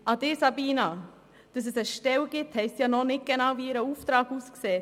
An Grossrätin Geissbühler: Dass es eine Stelle gibt, zeigt noch nicht, wie genau deren Auftrag aussieht.